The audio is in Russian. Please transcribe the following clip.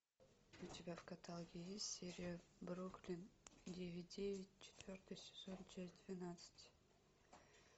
у тебя в каталоге есть серия бруклин девять девять четвертый сезон часть двенадцать